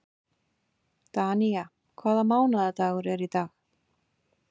Danía, hvaða mánaðardagur er í dag?